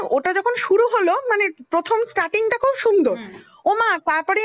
সুন্দর, ও মা তারপরেই